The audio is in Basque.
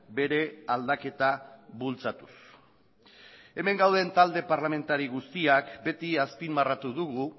bere aldaketa bultzatuz hemen gauden talde parlamentari guztiak beti azpimarratu dugu